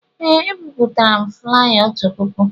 Ee, ebipụtara m flaya otu puku